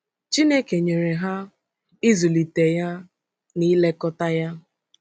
Chineke nyere ha “ịzụlite ya na ilekọta ya